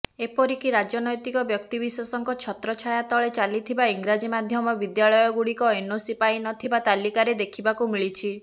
ଏପରିକି ରାଜନ୘ତିକ ବ୍ୟକ୍ତିବିଶେଷଙ୍କ ଛତ୍ରଛାୟା ତଳେ ଚାଲିଥିବା ଇଂରାଜୀ ମାଧ୍ୟମ ବିଦ୍ୟାଳୟଗୁଡ଼ିକ ଏନ୍ଓସି ପାଇନଥିବା ତାଲିକାରେ ଦେଖିବାକୁ ମିଳିଛି